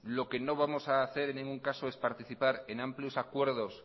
lo que no vamos a hacer en ningún caso es participar en amplios acuerdos